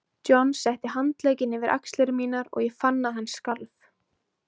John setti handlegginn yfir axlir mínar og ég fann að hann skalf.